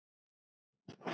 spurði Björn.